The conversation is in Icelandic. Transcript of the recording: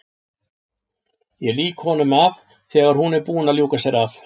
Ég lýk honum af þegar hún er búin að ljúka sér af.